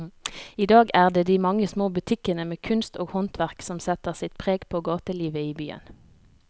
I dag er det de mange små butikkene med kunst og håndverk som setter sitt preg på gatelivet i byen.